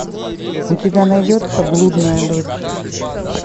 у тебя найдется блудная дочь